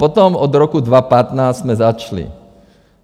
Potom od roku 2015 jsme začali.